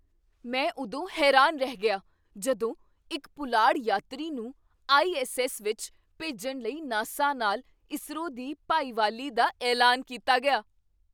ਮੈਂ ਉਦੋਂ ਹੈਰਾਨ ਰਹਿ ਗਿਆ ਜਦੋਂ ਇੱਕ ਪੁਲਾੜ ਯਾਤਰੀ ਨੂੰ ਆਈ.ਐੱਸ.ਐੱਸ. ਵਿੱਚ ਭੇਜਣ ਲਈ ਨਾਸਾ ਨਾਲ ਇਸਰੋ ਦੀ ਭਾਈਵਾਲੀ ਦਾ ਐਲਾਨ ਕੀਤਾ ਗਿਆ!